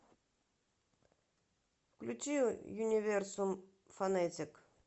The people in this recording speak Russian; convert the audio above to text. включи юниверсум фонетик